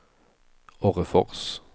Orrefors